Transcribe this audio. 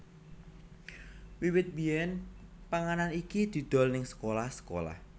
Wiwit biyen panganan iki didol neng sekolah sekolah